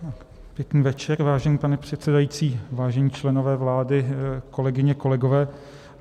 Pěkný večer, vážený pane předsedající, vážení členové vlády, kolegyně, kolegové.